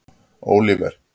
Óliver